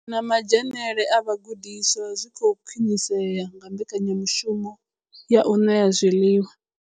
Na madzhenele a vhagudiswa zwi khou khwinisea nga mbekanyamushumo ya u ṋea zwiḽiwa.